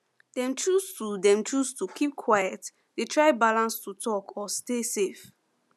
dem choose to dem choose to keep quiet dey try balance to talk or stay safe